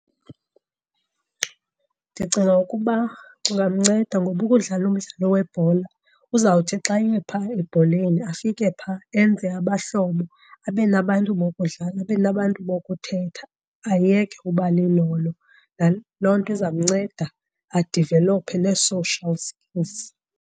Ndicinga ukuba kungamnceda ngoba ukudlala umdlalo webhola uzawuthi xa ephaa ebholeni afike phaa enze abahlobo, abe nabantu bokudlala, abe nabantu bokuthetha ayeke uba lilolo. Loo nto izamnceda adivelophe nee-social skills.